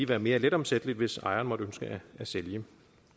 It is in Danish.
være mere letomsættelig hvis ejeren måtte ønske at sælge